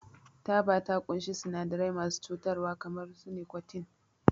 Taba ta ƙunshi sinadarai masu cutarwa kamar nikotin.